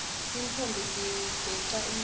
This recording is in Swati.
tintfombi tigeca umhlanga